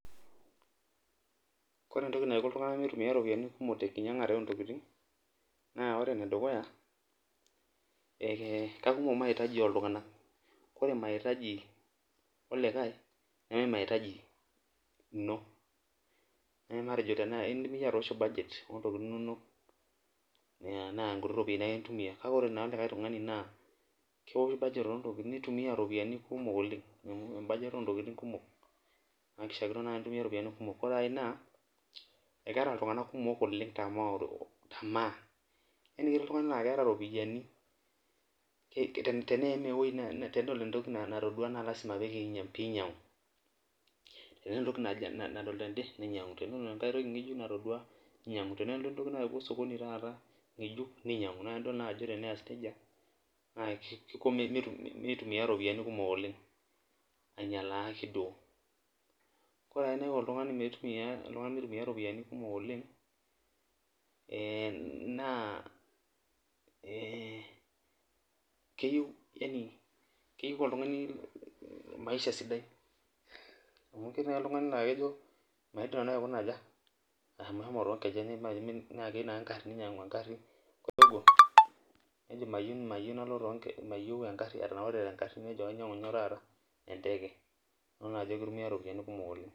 Ore entoki naiko ltunganak neitumiya ropiyiani kumok tenkinyangare oontokiting, naa ore enedukuya ,keikumok maitaji oltunganak ore maitaji olikae neme maitaji ino, indim iyie atoosho budget oontokiting inonok naa nkuti ropiyiani ake intumia ,kake ore likae tungani naa keosh budget neitumiya ropiyiani kumok oleng .ore ae naa, ekeenta ltungank kumok tamaa ,yanie ketii oltungani oota ropiyiani ,teneim eweji tenedol entoki natodua naa lasima pee ainyangu, tena entoki nadol tende neinyangu ,tenedol enkae tende neinyangu ,tenetii entoki neuo osokoni taata ngejuk neinyangu, naa tinidol naa ajo tenes najia naa Kiko meitumiya ropiyiani kumok oleng ainyala ake duo ,ore entoki naiko meitumiya oltungani ropiyiani kumok naa keyeiu oltungani maisha sidai amu ketii naaji oltungani laa kejio maidim nanu aikuna aja malo toonkejenk naa keyieu naa neinyangu engari ore atoki nejo kayieu enteke nidol ajo keitumiyai ropiyiani kumok oleng.